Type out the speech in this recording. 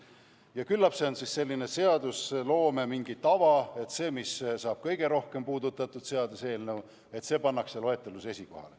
Ja küllap see on mingi selline seadusloome tava, et see seadus, mis saab kõige rohkem puudutatud, pannakse loetelus esikohale.